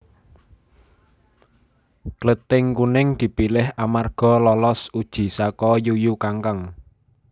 Klething Kuning dipilih amarga lolos uji saka Yuyu Kangkang